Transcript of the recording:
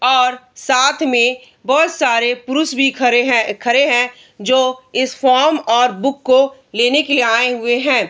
और साथ में बहुत सारे पुरुष भी खड़े है खड़े है जो इस फॉर्म और बुक को लेने के लिए आए हुए हैं।